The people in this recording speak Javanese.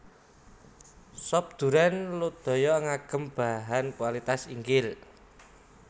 Sop Duren Lodaya ngagem bahan kualitas inggil